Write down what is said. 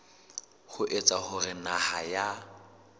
ho etsa hore naha ya